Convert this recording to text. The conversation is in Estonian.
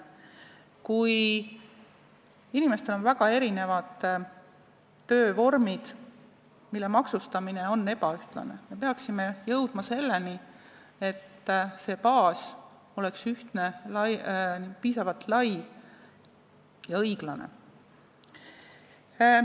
Kui inimestel on väga erinevad töövormid, mille maksustamine on ebaühtlane, me peaksime jõudma selleni, et see baas oleks ühtne, piisavalt lai ja õiglane.